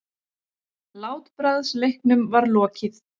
Látbragðsleiknum var lokið.